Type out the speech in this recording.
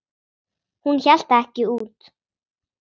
Hún hélt það ekki út!